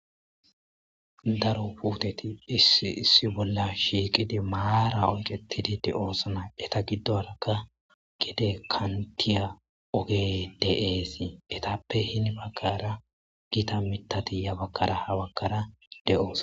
Daro puteti issi issi bola shiqidi mara oyketidi de'osona eta gidonka gede kantiya ogey de'es etape hini bagara gita mithati yabaganne habagara de'osona.